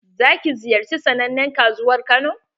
Za ki ziyarci sannanen kasuwar kano?